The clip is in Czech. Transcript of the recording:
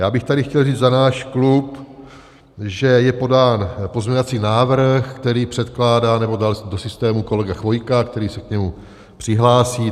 Já bych tady chtěl říct za náš klub, že je podán pozměňovací návrh, který předkládá, nebo dal do systému, kolega Chvojka, který se k němu přihlásí.